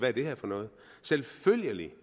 er det her for noget selvfølgelig